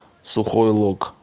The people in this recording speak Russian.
сухой лог